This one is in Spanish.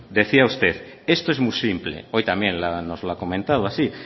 decía usted esto es muy simple hoy también nos lo ha comentado así